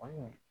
O ye